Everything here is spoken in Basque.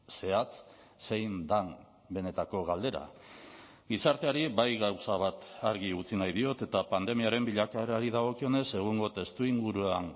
zehatz zein den benetako galdera gizarteari bai gauza bat argi utzi nahi diot eta pandemiaren bilakaerari dagokionez egungo testuinguruan